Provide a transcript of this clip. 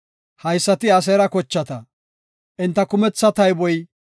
Haysati Aseera kochata; enta kumetha tayboy 53,400.